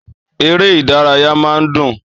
Èrè ìdárayá máa ń dùn